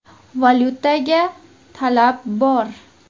Valyutaga talab bor.